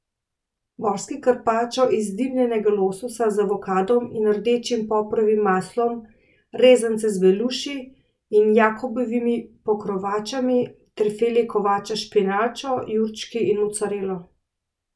Morski karpačo iz dimljenega lososa z avokadom in rdečim poprovim maslom, rezance z beluši in jakobovimi pokrovačami ter file kovača s špinačo, jurčki in mocarelo.